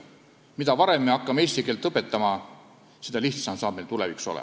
Mida varem me hakkame eesti keelt õpetama, seda lihtsam meil tulevikus on.